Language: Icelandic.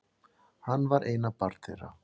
Hann var eina barn þeirra.